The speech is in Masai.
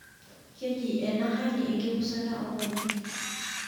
Keji ena hali enkipusata oonkonyek.